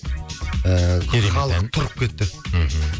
ыыы керемет ән халық тұрып кетті мхм